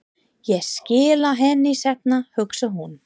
Ég skila henni seinna, hugsaði hún.